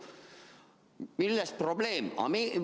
Milles probleem?